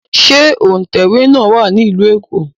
Ṣé òǹtẹ̀wé náà wà ní Ìlú Èkó?